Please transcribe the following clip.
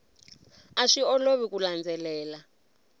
a swi olovi ku landzelela